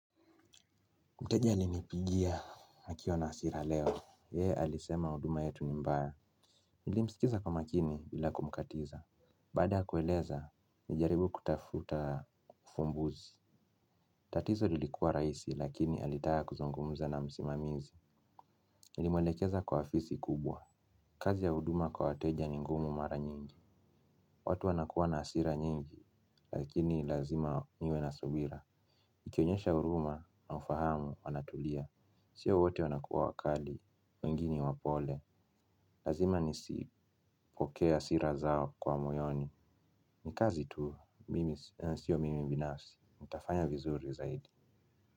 Mteja alinipigia akiwa na hasira leo. Yeye alisema huduma yetu ni mbaya. Nilimsikiza kwa makini bila kumkatiza. Baada ya kueleza, nilijaribu kutafuta uvumbuzi. Tatizo lilikuwa rahisi lakini alitaka kuzungumza na msimamizi. Nilimwelekeza kwa afisi kubwa. Kazi ya huduma kwa wateja ni ngumu mara nyingi. Watu wanakuwa na hasira nyingi lakini lazima niwe na subira. Nikionyesha huruma na ufahamu wanatulia. Sio wote wanakuwa wakali, wengi ni wapole. Lazima nisipokee hasira zao kwa moyoni. Ni kazi tu, sio mimi binafsi nitafanya vizuri zaidi.